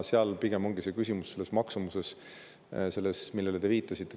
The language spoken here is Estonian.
Seal pigem ongi küsimus maksumuses, selles, millele te viitasite.